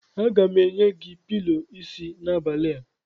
Aga m enye gị pilọ isi n'abalị a.